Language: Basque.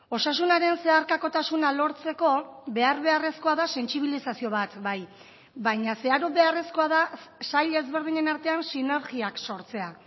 osasunaren zeharkakotasuna lortzeko behar beharrezkoa da sentsibilizazio bat bai baina zeharo beharrezkoa da sail ezberdinen artean sinergiak sortzea